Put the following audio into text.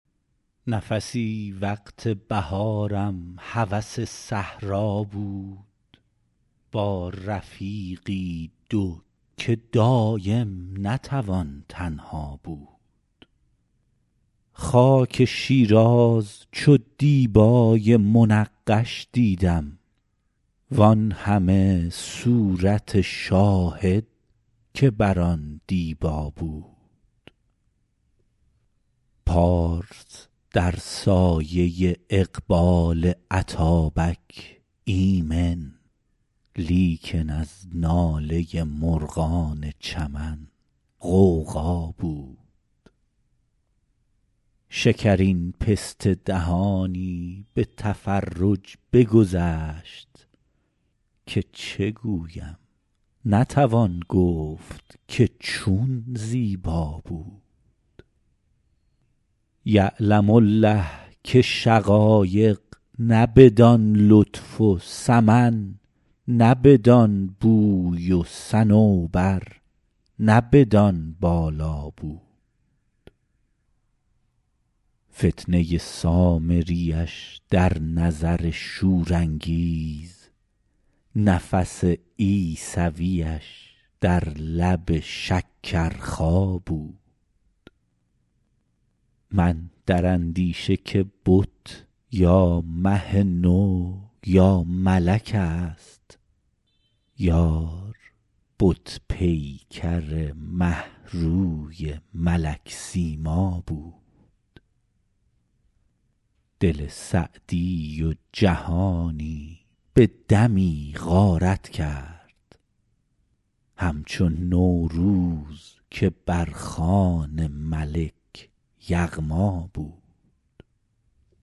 نفسی وقت بهارم هوس صحرا بود با رفیقی دو که دایم نتوان تنها بود خاک شیراز چو دیبای منقش دیدم وان همه صورت شاهد که بر آن دیبا بود پارس در سایه اقبال اتابک ایمن لیکن از ناله مرغان چمن غوغا بود شکرین پسته دهانی به تفرج بگذشت که چه گویم نتوان گفت که چون زیبا بود یعلم الله که شقایق نه بدان لطف و سمن نه بدان بوی و صنوبر نه بدان بالا بود فتنه سامریش در نظر شورانگیز نفس عیسویش در لب شکرخا بود من در اندیشه که بت یا مه نو یا ملک ست یار بت پیکر مه روی ملک سیما بود دل سعدی و جهانی به دمی غارت کرد همچو نوروز که بر خوان ملک یغما بود